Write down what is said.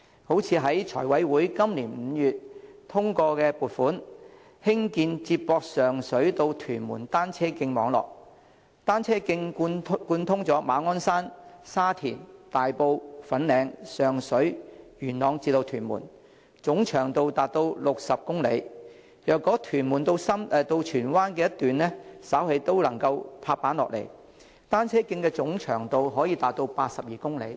例如，財務委員會今年5月通過撥款，興建接駁上水至屯門的單車徑網絡，單車徑貫通馬鞍山、沙田、大埔、粉嶺、上水、元朗至屯門，總長度達60公里；如果屯門至荃灣的一段稍後亦能"拍板"，單車徑總長度可達82公里。